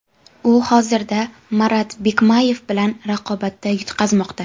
U Hozircha Marat Bikmayev bilan raqobatda yutqazmoqda.